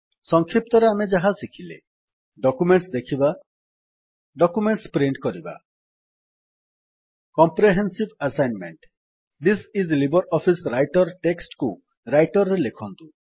ସଂକ୍ଷିପ୍ତରେ ଆମେ ଯାହା ଶିଖିଲେ ଡକ୍ୟୁମେଣ୍ଟସ୍ ଦେଖିବା ଡକ୍ୟୁମେଣ୍ଟସ୍ ପ୍ରିଣ୍ଟ କରିବା comprehensive assignment this is LibreOffice writer text କୁ ରାଇଟର୍ ରେ ଲେଖନ୍ତୁ